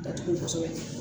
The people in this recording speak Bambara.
Datugu kosɛbɛ